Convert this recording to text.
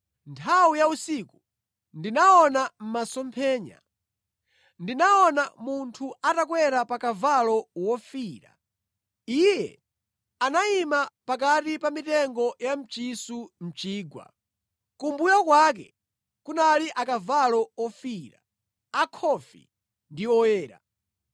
Nthawi ya usiku ndinaona masomphenya. Ndinaona munthu atakwera pa kavalo wofiira. Iye anayima pakati pa mitengo ya mchisu mʼchigwa. Kumbuyo kwake kunali akavalo ofiira, akhofi ndi oyera.